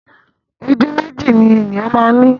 Ojú méjì ni ènìyàn máa ń ni